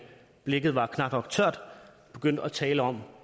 blækket var knap nok tørt begyndte at tale om